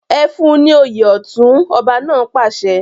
Ẹ fún ní òye ọ̀tún! ọba náà pàṣẹ.